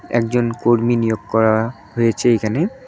একজন কর্মী নিয়োগ করা হয়েছে এখানে।